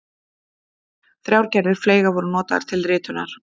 Þrjár gerðir fleyga voru notaðar til ritunar.